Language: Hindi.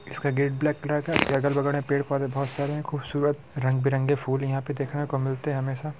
इसका गेट ब्लैक कलर का इसके अगल-बगल मे पेड़ पौधे बोहत सारे हैं खूबसूरत रंग-बिरंगे फूल यहाँ देखने को मिलते हैं हमेशा।